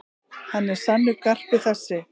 Hann er sannur garpur þessi.